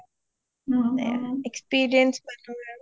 সেইবিলাক experience মানুহ আৰু